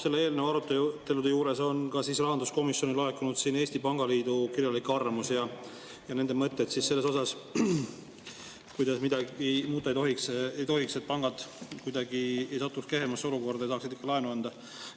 Selle eelnõu arutelude juures on ka rahanduskomisjonile laekunud Eesti Pangaliidu kirjalik arvamus ja nende mõtted selle kohta, kuidas midagi muuta ei tohiks, et pangad ei satuks kehvemasse olukorda ja saaksid ikka laenu anda.